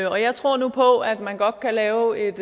jeg tror nu på at man godt kan lave et